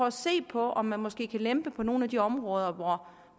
at se på om man måske kan lempe på nogle af de områder hvor